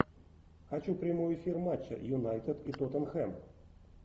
хочу прямой эфир матча юнайтед и тоттенхэм